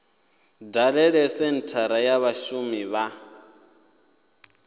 dalele senthara ya vhashumi ya